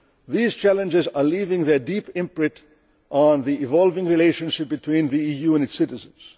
These challenges are leaving their deep imprint on the evolving relationship between the EU and its citizens.